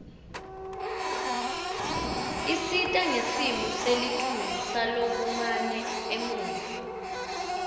isita ngesimo selitulu sakulamanye emave